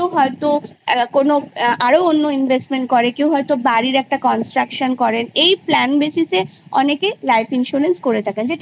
সেটা কেউ অন্য investment করে ।কেউ বাড়ির construction করে এই plan basis এ অনেকে investment করে থাকে।